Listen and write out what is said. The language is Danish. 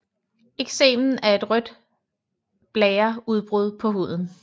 Eksemen er et rødt blære udbrud på huden